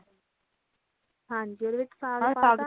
ਹਾਂਜੀ ਓਦੇ ਵਿੱਚ ਸਾਗ ਪਾਤਾ